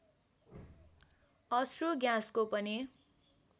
अश्रु ग्याँसको पनि